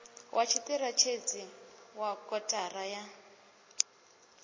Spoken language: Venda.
wa tshiṱirathedzhi wa kotara ya